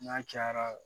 N'a cayara